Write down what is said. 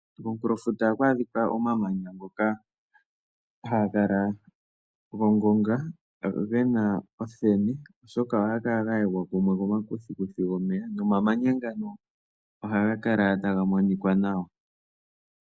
Komunkulofuta oha ku adhika omamanya ngoka haga kala gongonga ngono ge na omuthenu oshoka oha ga kala ga yegwa kumwe komakuthikuthi gomeya, nomamanya ngano oha ga kala taga monika nawa.